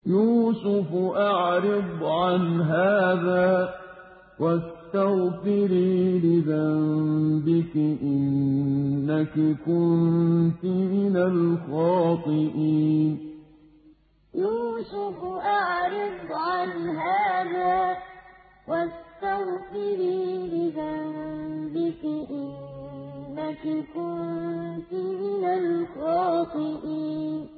يُوسُفُ أَعْرِضْ عَنْ هَٰذَا ۚ وَاسْتَغْفِرِي لِذَنبِكِ ۖ إِنَّكِ كُنتِ مِنَ الْخَاطِئِينَ يُوسُفُ أَعْرِضْ عَنْ هَٰذَا ۚ وَاسْتَغْفِرِي لِذَنبِكِ ۖ إِنَّكِ كُنتِ مِنَ الْخَاطِئِينَ